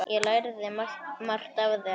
Ég lærði margt af þér.